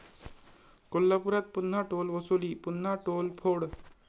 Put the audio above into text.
कोल्हापुरात पुन्हा टोल वसुली, पुन्हा 'टोल'फोड?